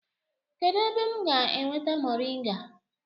Kedu ebe m ga-enweta moringa?